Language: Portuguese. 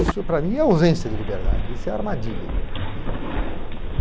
Isso para mim é ausência de liberdade, isso é armadilha, né.